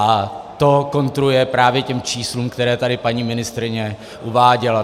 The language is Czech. A to kontruje právě těm číslům, které tady paní ministryně uváděla.